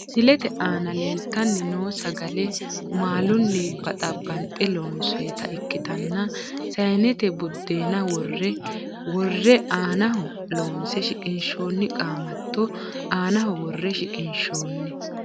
Misilete aana leeltani noo sagale maaluni baxabanxe lonsoyita ikitanna sayinete budeena woroo wore aanaho loonse shiqinshooni qaamato aanaho wore shiqinshooni.